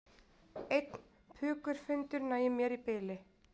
Einn pukurfundur nægir mér í bili